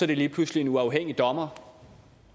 det lige pludselig en uafhængig dommer